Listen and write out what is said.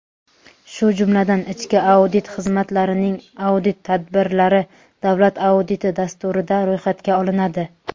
shu jumladan ichki audit xizmatlarining audit tadbirlari "Davlat auditi" dasturida ro‘yxatga olinadi;.